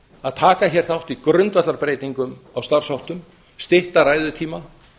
að taka hér þátt í grundvallarbreytingum á starfsháttum stytta ræðutíma